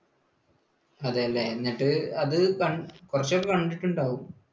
അതെ അല്ലേ? എന്നിട്ട് അത് കുറച്ചൊക്കെ കണ്ടിട്ടുണ്ടാവും.